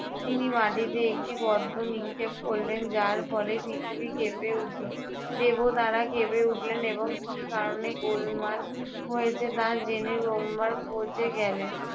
তিনি মাটিতে একটি পদ্ম নিক্ষেপ করলেন যার ফলে পৃথিবী কেঁপে উঠলো, দেবতারা কেঁপে উঠলেন এবং কী কারণে গোলমাল হয়েছে তা জেনে ব্রহ্মার খোঁজে গেলেন।